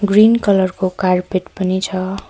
Green colour को carpet पनि छ।